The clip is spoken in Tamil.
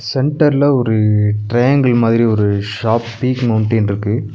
சென்டர் ல ஒரு ட்ரையாங்கிள் மாதிரி ஒரு ஷார்ப் பீக் மௌண்டைன் ருக்கு.